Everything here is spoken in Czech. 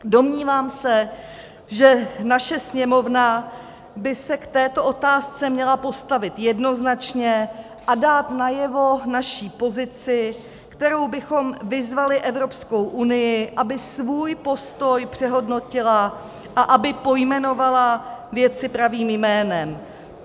Domnívám se, že naše Sněmovna by se k této otázce měla postavit jednoznačně a dát najevo naši pozici, kterou bychom vyzvali Evropskou unii, aby svůj postoj přehodnotila a aby pojmenovala věci pravým jménem.